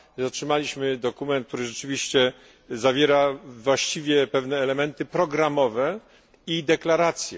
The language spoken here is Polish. Otrzymaliśmy dokument, który rzeczywiście zawiera właściwie pewne elementy programowe i deklaracje.